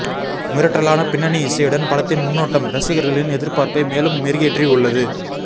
மிரட்டலான பின்னணி இசையுடன் படத்தின் முன்னோட்டம் ரசிகர்களின் எதிர்பார்ப்பை மேலும் மெருகேற்றி உள்ளது